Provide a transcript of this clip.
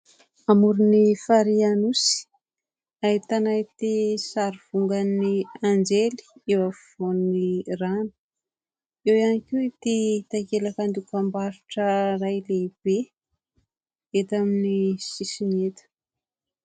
Amoron'ny farihy Anosy ahitana ity sary vongan'ny anjely eo afovoan'ny rano ; eo ihany koa ity takelaka dokam-barotra iray lehibe dia eto amin'ny sisiny eto.